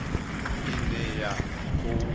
ine ya khou tea u